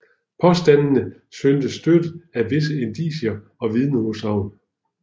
Påstandene syntes støttet af visse indicier og vidneudsagn